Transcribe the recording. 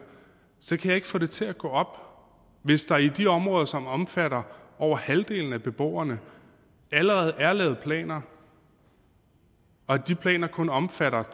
så kan jeg ikke få det til at gå op hvis der i de områder som omfatter over halvdelen af beboerne allerede er lavet planer og de planer kun omfatter